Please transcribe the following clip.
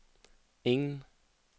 ingen